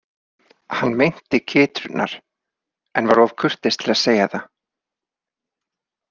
Hann meinti kytrurnar en var of kurteis til að segja það.